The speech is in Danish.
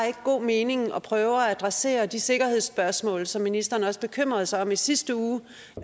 god mening at prøve at adressere de sikkerhedsspørgsmål som ministeren også bekymrede sig om i sidste uge